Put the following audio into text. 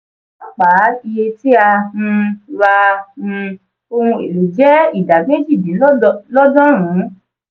pàápàá iye tí a um ra um ohun èlò je idà méjì dín lọ́dọ̀rùn-ún